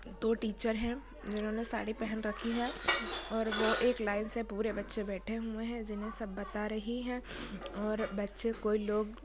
दो टीचर है उन्होंने साड़ी पहन रखी है और वो एक लाइन से पूरे बचे बैठे हुए है जिन्हे सब बता रही है और बच्चे कोई लोग--